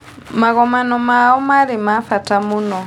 Magongona mao marĩ ma bata mũno